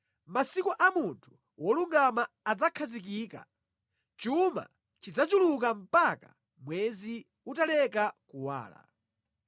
Mʼmasiku a munthu wolungama adzakhazikika; chuma chidzachuluka mpaka mwezi utaleka kuwala.